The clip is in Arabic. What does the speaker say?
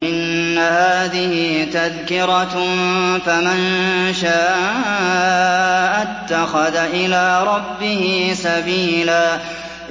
إِنَّ هَٰذِهِ تَذْكِرَةٌ ۖ فَمَن شَاءَ اتَّخَذَ إِلَىٰ رَبِّهِ سَبِيلًا